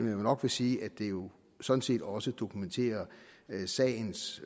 jeg nok vil sige at det jo sådan set også dokumenterer sagens